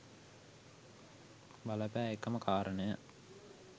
බල පෑ එකම කාරණය